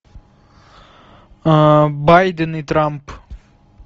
байден и трамп